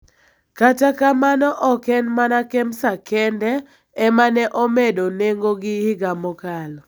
Kata kamano ok en mana Kemsa kende ema ne omedo nengogi higa mokalo,